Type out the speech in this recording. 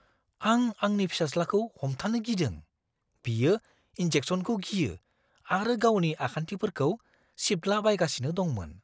आं आंनि फिसाज्लाखौ हमथानो गिदों, बियो इन्जेक्सनखौ गियो आरो गावनि आखान्थिफोरखौ सिबद्लाबायगासिनो दंमोन।